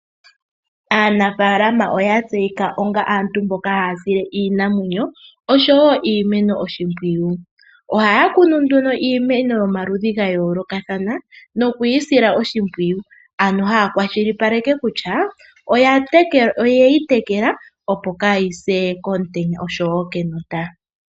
Aanafaalama oya tseyika onga aantu mboka haya sile iinamwenyo oshowo iimeno oshimpwiyu . Ohaya kunu nduno iimeno yomaludhi ga yooloka ano haya kwashilipaleke kutya oye yi tekela opo kayise komutenya oshowo kenota.